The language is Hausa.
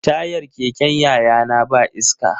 Tayar keken yayana ba iska.